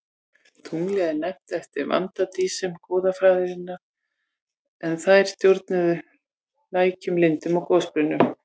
Tunglið er nefnt eftir vatnadísum goðafræðinnar en þær stjórnuðu lækjum, lindum og gosbrunnum.